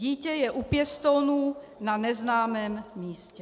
Dítě je u pěstounů na neznámém místě.